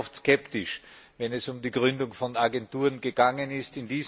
Ich war sehr oft skeptisch, wenn es um die Gründung von Agenturen gegangen ist.